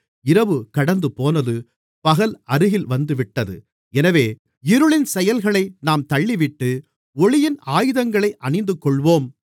இரவு கடந்துபோனது பகல் அருகில் வந்துவிட்டது எனவே இருளின் செயல்களை நாம் தள்ளிவிட்டு ஒளியின் ஆயுதங்களை அணிந்துகொள்வோம்